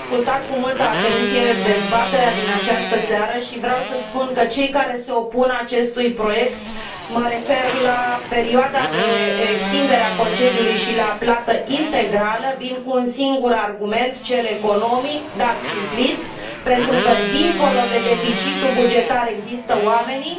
Am ascultat cu multă atenție dezbaterea din această seară și vreau să spun că cei care se opun acestui proiect, mă refer la perioada de extindere a concediului și la plata integrală, vin cu un sigur argument, cel economic, dar simplist, pentru că dincolo de deficitul bugetar există oamenii.